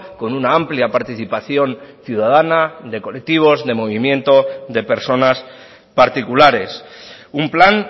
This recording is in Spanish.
con una amplia participación ciudadana de colectivos de movimientos de personas particulares un plan